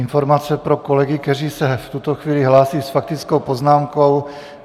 Informace pro kolegy, kteří se v tuto chvíli hlásí s faktickou poznámkou.